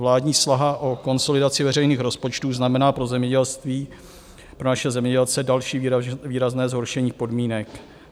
Vládní snaha o konsolidaci veřejných rozpočtů znamená pro zemědělství, pro naše zemědělce další výrazné zhoršení podmínek.